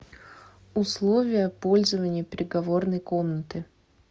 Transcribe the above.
условия пользования переговорной комнатой